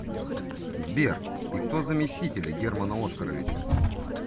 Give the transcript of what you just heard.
сбер и кто заместители германа оскаровича